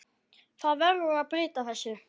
Það verður að breyta þessu.